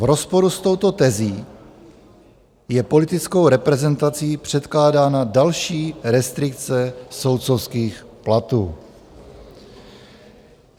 V rozporu s touto tezí je politickou reprezentací předkládána další restrikce soudcovských platů.